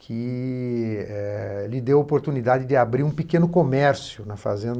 que lhe deu a oportunidade de abrir um pequeno comércio na fazenda.